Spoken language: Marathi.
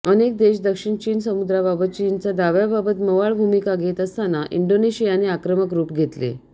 अनेक देश दक्षिण चीन समुद्राबाबत चीनच्या दाव्याबाबत मवाळ भूमिका घेत असताना इंडोनेशियाने आक्रमक रुप घेतले